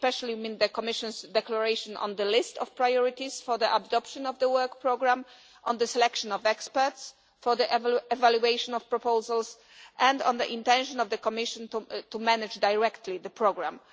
I mean especially the Commission's declaration on the list of priorities for the adoption of the work programme, on the selection of experts for the evaluation of proposals, and on the intention of the Commission to manage directly the programme.